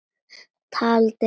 Tjaldið fellur.